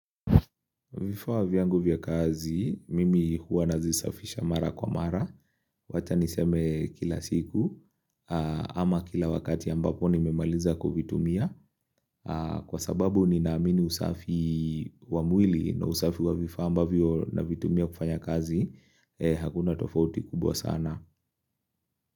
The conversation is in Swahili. Vifaa vyangu vya kazi, mimi huwa nazisafisha mara kwa mara, wata niseme kila siku, ama kila wakati ambapo nimemaliza kovitumia, kwa sababu ni naamini usafi wa mwili na usafi wa vifawa ambavyo na vitumia kufanya kazi, hakuna tofauti kubwa sana.